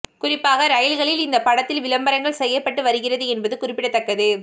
குறிப்பாக ரயில்களில் இந்த படத்தின் விளம்பரங்கள் செய்யப்பட்டு வருகிறது என்பது குறிப்பிடத்தக்கது